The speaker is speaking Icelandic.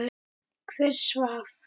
Hver svaf?